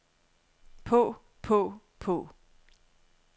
på på på